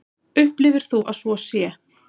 Upplifir þú að svo sé?